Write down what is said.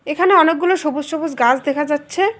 এখানে অনেকগুলো সবুজ সবুজ গাছ দেখা যাচ্ছে।